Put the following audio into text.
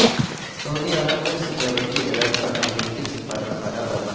سعودی عرب میں security alert پر امریکی سفارت خانہ بند